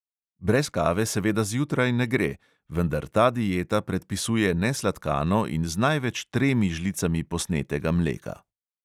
Brez kave seveda zjutraj ne gre, vendar ta dieta predpisuje nesladkano in z največ tremi žlicami posnetega mleka.